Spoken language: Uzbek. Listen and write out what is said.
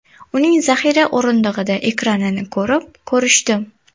Uning zaxira o‘rindig‘ida ekanini ko‘rib, ko‘rishdim.